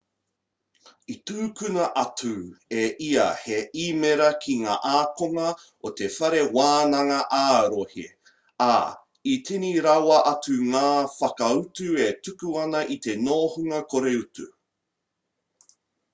i tukuna atu e ia he īmera ki ngā ākonga o te whare wānanga ā-rohe ā i tini rawa atu ngā whakautu e tuku ana i te nohonga kore utu